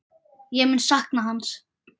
Ég mun sakna hans.